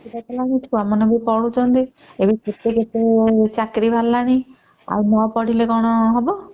ଛୁଆ ମାନେ ବି ପଢୁଛନ୍ତି ଏବେ କେତେ କେତେ ଚାକିରୀ ବାହାରିଲାଣି ଆଉ ନ ପଢିଲେ କଣ ହବା